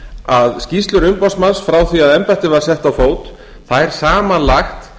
að skýrslur umboðsmanns frá því að embættið var sett á fót þær samanlagt